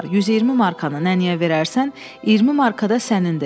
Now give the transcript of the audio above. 120 markanı nənəyə verərsən, 20 markada sənindir.